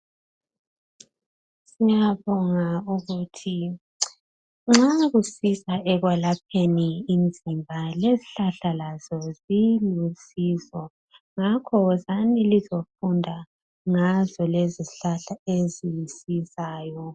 Siyabonga ukuthi nxa kusiza ekwelapheni imizimba lezihlahla lazo zilusizo ngakho wozani lizofunda ngazo lezi zihlahla ezisizayo.